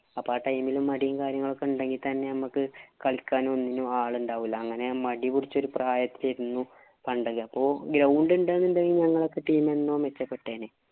അപ്പൊ ആ time ഇല് മടീം കാര്യങ്ങലുംന്‍ ഒണ്ടെങ്കില്‍ തന്നെ ഞമ്മക്ക് കളിക്കാനും, ഒന്നിനും ആളുണ്ടാവില്ല. അങ്ങനെ മടിപിടിച്ച പ്രായത്തീ ഇരുന്നു പണ്ടൊക്കെ. അപ്പൊ ground ഉണ്ട് എന്നുണ്ടെങ്കില്‍ ഞങ്ങടെ ഒക്കെ team എന്നേ മെച്ചപ്പെട്ടേനെ.